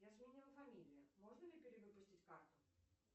я сменила фамилию можно ли перевыпустить карту